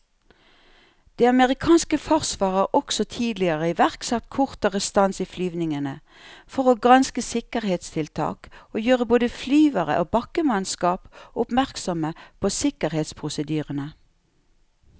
Det amerikanske forsvaret har også tidligere iverksatt kortere stans i flyvningene for å granske sikkerhetstiltak og gjøre både flyvere og bakkemannskap oppmerksomme på sikkerhetsprosedyrene.